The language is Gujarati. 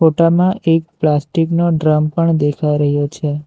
ફોટામાં એક પ્લાસ્ટીક નો ડ્રમ પણ દેખાઈ રહ્યો છે.